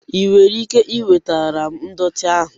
Ị nwere ike iwetara m ndọtị ahụ?